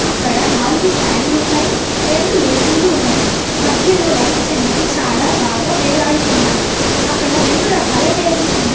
అక్కడ నాలుగు ఫ్యాన్లున్నాయి రెండు ఏ_సీ లు ఉన్నవి మధ్యలో లైట్స్ అనేవి చాలా బాగా వేలాడుతున్నాయి అక్కడ రెండు రకాల టేబుల్స్ ఉన్నాయ్.